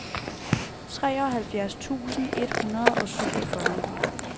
treoghalvfjerds tusind et hundrede og syvogfyrre